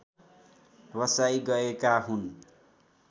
बसाइ गएका हुन्